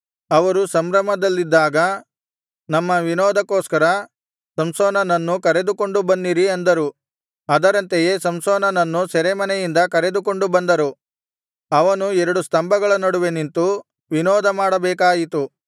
ಅವರು ಸಂಭ್ರಮದಲ್ಲಿದ್ದಾಗ ನಮ್ಮ ವಿನೋದಕ್ಕೋಸ್ಕರ ಸಂಸೋನನನ್ನು ಕರೆದುಕೊಂಡು ಬನ್ನಿರಿ ಅಂದರು ಅದರಂತೆಯೇ ಸಂಸೋನನನ್ನು ಸೆರೆಮನೆಯಿಂದ ಕರೆದುಕೊಂಡು ಬಂದರು ಅವನು ಎರಡು ಸ್ತಂಭಗಳ ನಡುವೆ ನಿಂತು ವಿನೋದ ಮಾಡಬೇಕಾಯಿತು